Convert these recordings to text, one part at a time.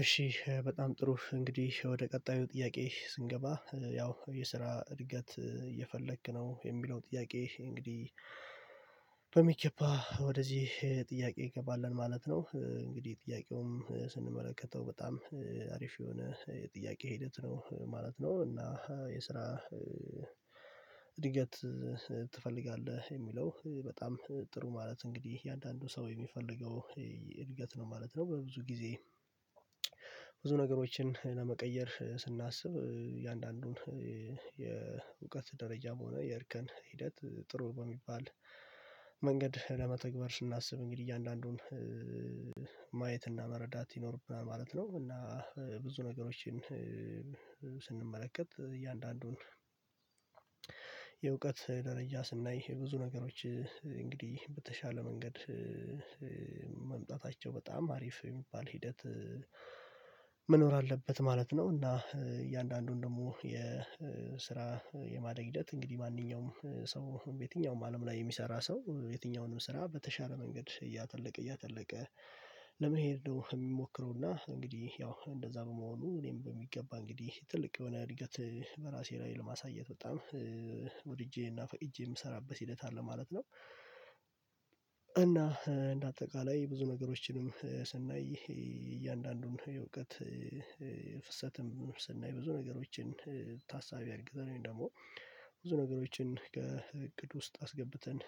እሺ በጣም ጥሩ እንግዲህ ወደ ቀጣዩ ጥያቄ ስንገባ ያው የስራ እድገት እየፈለክ ነው የሚለው ጥያቄ እንግዲህ በሚከባ ወደዚህ ጥያቄ እንገባለን ማለት ነው። እንግዲህ ጥያቄውም ስንመለከተው በጣም አሪፍ የሆነ የጥያቄ ሂደት ነው ማለት ነው። እና የስራ እድገት ትፈልጋለህ የሚለው በጣም ጥሩ ማለት እንግዲህ የእያንዳንዱ ሰው የሚፈልገው እድገት ነው ማለት ነው። በብዙ ጊዜ ብዙ ነገሮችን ለመቀየር ስናስብ የእያንዳንዱን የእውቀት ደረጃ በሆነ የእርከን ሂደት ጥሩ በሚባል መንገድ ለመተግበር ስናስብ እንግዲህ እያንዳንዱን ማየት እና መረዳት ይኖርብናል ማለት ነው። እና ብዙ ነገሮችን እያንዳንዱን የእውቀት ደረጃ ስናይ ብዙ ነገሮች እንግዲህ በተሻለ መንገድ መምጣታቸው በጣም አሪፍ የሚባል ሂደት አለበት ማለት ነው። እና እያንዳንዱን ደግሞ የማደግ ሂደት እንግዲህ ማንኛውም ሰው የትኛውም አለም ላይ የሚሰራ ሰው የትኛውንም ስራ በተሻለ መንገድ እያተለቀ እያተለቀ ለመሄድ ነው። የሚሞክረውና እንግዲህ ያው እንደዛ በመሆኑ እኔም በሚገባ እንግዲህ ትልቅ የሆነ እድገት በራሴ ላይ ለማሳየት በጣም ወድጄ እና እጄ የምሰራበት ሂደት አለ ማለት ነው። እና እንደ አጠቃላይ ብዙ ነገሮችንም እያንዳንዱን የእውቀት ፍሰትም ብዙ ነገሮችን ታሳቢ አድርገን ደግሞ ብዙ ነገሮችን ከእቅድ ውስጥ አስገብተን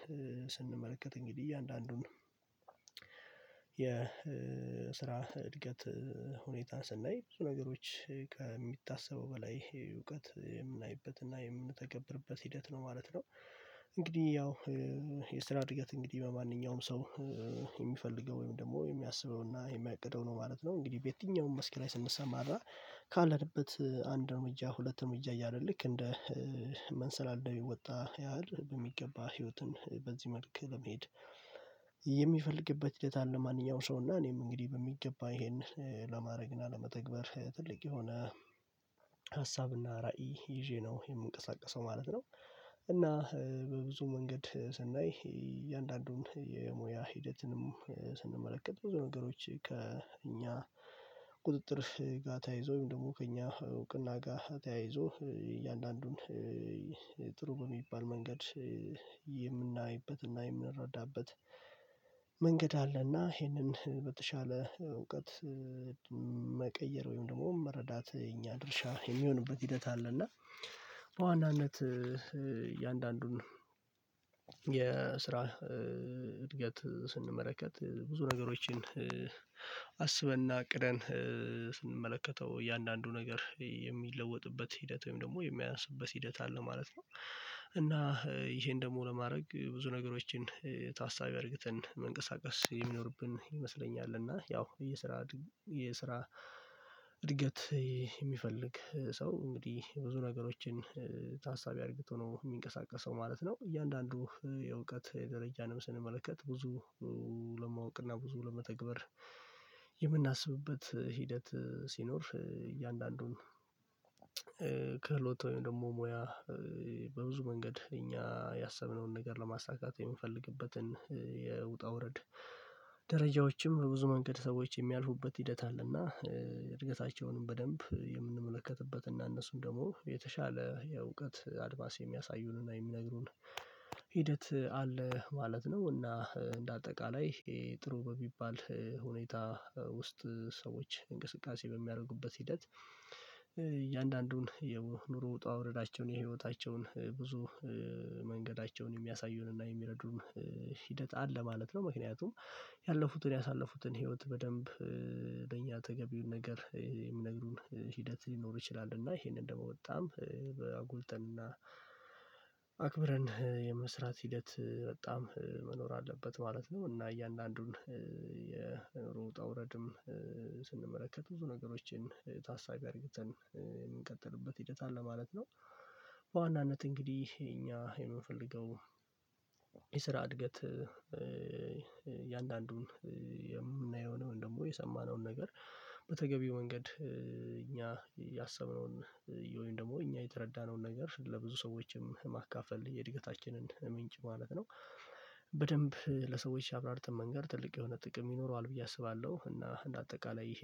ስንመለከት እንግዲህ እያንዳንዱን የስራ እድገት ሁኔታ ስናይ ብዙ ነገሮች ከሚታሰበው በላይ እውቀት የምናይበትና የምንተገብርበት ሂደት ነው ማለት ነው። እንግዲህ ያው የስራ እድገት እንግዲህ በማንኛውም ሰው የሚፈልገው ወይም ደግሞ የሚያስበውና የሚያቅደው ነው ማለት ነው። እንግዲህ በየትኛውም መስኪና ስንሰማ አረ ካለበት አንድ እርምጃ ሁለት እርምጃ ያለ ልክ እንደ መንሰላለድ ወጣ ያህል በሚገባ ህይወትን በዚህ መልኩ ለመሄድ የሚፈልግበት ሂደት አለ። ማንኛውም ሰው እና እኔም እንግዲህ በሚገባ ይሄን ለማድረግ እና ለመተግበር ትልቅ የሆነ ሀሳብና ራዕይ ይዤ ነው የምንቀሳቀሰው ማለት ነው። እና በብዙ መንገድ ስናይ እያንዳንዱን የሙያ ሂደትንም ስንመለከት ብዙ ነገሮች ከእኛ ቁጥጥር ጋር ተያይዞኝ ወይም ደግሞ ከእኛ እውቅና ጋር ተያይዞ እያንዳንዱን ጥሩ በሚባል መንገድ የምናይበትና የምንረዳበት መንገድ አለና ይህንን በተሻለ እውቀት መቀየር ወይም ደግሞ መረዳት የኛ ድርሻ የሚሆንበት ሂደት አለ። እና በዋናነት የአንዳንዱን የስራ እድገት ስንመለከት ብዙ ነገሮችን አስበን እና ቅደን እያንዳንዱ ነገር የሚለወጥበት ሂደት ወይም ደግሞ የሚያንስበት ሂደት አለ ማለት ነው። እና ይሄን ደግሞ ለማድረግ ብዙ ነገሮችን ታሳቢ አድርግተን መንቀሳቀስ የሚኖርብን ይመስለኛል። እና ያው የስራ የስራ እድገት የሚፈልግ ሰው እንግዲህ ብዙ ነገሮችን ታሳቢ አድርገው ነው የሚንቀሳቀሰው ማለት ነው። እያንዳንዱ የእውቀት ደረጃንም ስንመለከት ብዙ ለማወቅና ብዙ ለመተግበር የምናስብበት ሂደት ሲኖር እያንዳንዱን ክህሎት ወይም ደግሞ ሙያ በብዙ መንገድ እኛ ያሰብነውን ነገር ለማሳካት የምፈልግበትን የውጣ ውረድ ደረጃዎችም ብዙ መንገድ ሰዎች የሚያልፉበት ሂደት አለና። እድገታቸውንም በደንብ የምንመለከትበትና እነሱም የተሻለ የእውቀት አድማስ የሚያሳዩንና የሚነግሩን ሂደት አለ ማለት ነው። እና እንደ አጠቃላይ ጥሩ በሚባል ሁኔታ ውስጥ ሰዎች እንቅስቃሴ በሚያደርጉበት ሂደት እያንዳንዱን የኑሮ ውጣ ውረዶቸውን የህይወታቸውን ብዙ መንገዳቸውን የሚያሳዩንና የሚረዱም ሂደት አለ ማለት ነው። ምክንያቱም ያለፉትን ያሳለፉትን ህይወት በደንብ ለእኛ ተገቢውን ነገር የሚነግሩን ሂደት ሊኖር ይችላል። እና ይሄንን ደግሞ በጣም አጎልተን እና አክብረን የመስራት ሂደት በጣም መኖር አለበት ማለት ነው። እና እያንዳንዱን የኑሮ ውጣ ውረድም ስንመለከት ብዙ ነገሮችን ታሳቢ አድርገን የሚቀጥልበት ሂደት አለ ማለት ነው። በዋናነት እንግዲህ እኛ የምንፈልገው የስራ እድገት የአንዳንዱን የምናየውን ደግሞ የሰማነውን ነገር በተገቢ መንገድ እኛ ያሰብነውን ወይም ደግሞ እኛ የተረዳነውን ነገር ለብዙ ሰዎችም ማካፈል የእድገታችንን ምንጭ ማለት ነው። በደንብ ለሰዎች አብራርተን መንገድ ትልቅ የሆነ ጥቅም ይኖረዋል ብዬ አስባለሁ። እና እንደ አጠቃላይ ይሄን